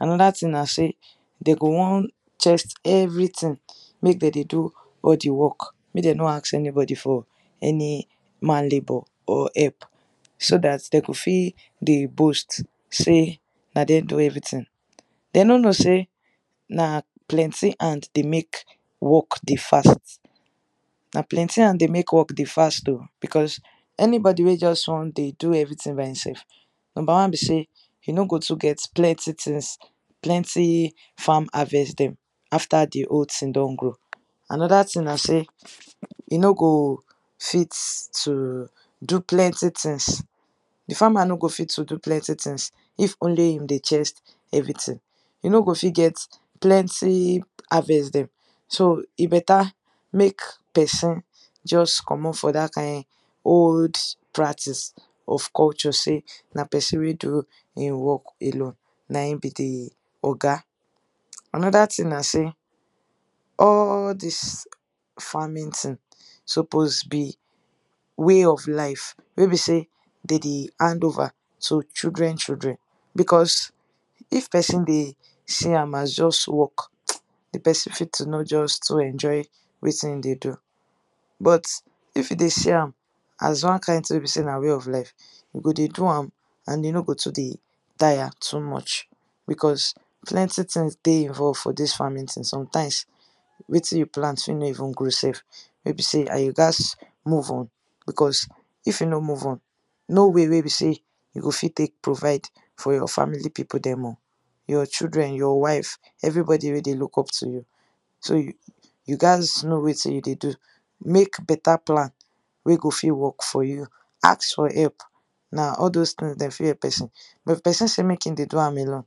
Another tin na sey de go want chest everything, make de dey do all the work, make de no ask anybody for any man labour or help, so dat de go fit dey boast sey na dem do everything. De no know sey na plenty hand dey make work dey fast. Na plenty hand dey make work dey fast oh, becos anybody wey juz wan dey do everything by insef: Nomba one be sey e no go too get plenty tins, plenty farm harvest dem after the whole tin don go. Another tin na sey e no go fit to do plenty tins. The farmer no go fit to do plenty tins if only him dey chest everything –e no go fit get plenty harvest dem. So, e beta make peson juz comot for dat kain old practice of culture sey na peson wey do ein work alone na ein be the oga. Another tin na sey all dis farming tin suppose be way of life wey be sey de dey hand over to children children. Becos if peson dey see am as juz work, the peson fit to not juz too enjoy wetin e dey do. But if e dey see am as one kain tin wey be sey na way of life, e go dey do am an e no go too dey taya too much becos plenty tins dey involve for dis farming tin. Sometimes, wetin you plant fit no even grow sef, wey be say an you gaz move on becos if you no move on, no way wey be sey you go fit take provide for your family pipu dem oh: your children, your wife, everybody wey dey look up to you. So, you gaz know wetin you dey do; make beta plan wey go fit work for you Ask for help. Na all dos tins dem fit help peson. But if peson say make ein dey do am alone,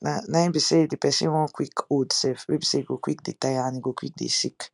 na ein be sey the peson wan quick old sef wey be sey he go quick dey taya an e go quick dey sick.